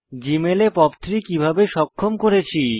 জীমেলে POP 3 কিভাবে সক্ষম করেছি